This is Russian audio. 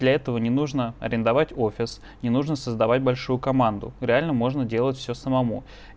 для этого не нужно арендовать офис не нужно создавать большую команду реально можно делать всё самому